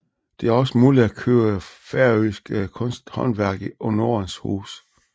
Det er også muligt at købe færøsk kunsthåndværk i Nordens Hus